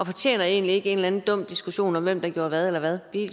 fortjener egentlig ikke en eller anden dum diskussion om hvem der gjorde hvad eller hvad